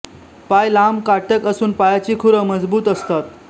पाय लांब काटक असून पायाची खुरं मजबूत असतात